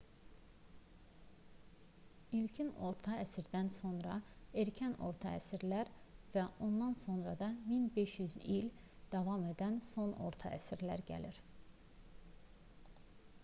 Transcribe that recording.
i̇lkin orta əsrlərdən sonra erkən orta əsrlər və ondan sonra da 1500 il davam edən son orta əsrlər gəlir